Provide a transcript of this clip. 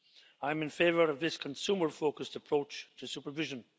I'm in favour of this consumer focused approach to supervision.